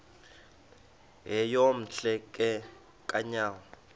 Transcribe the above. yeyom hle kanyawo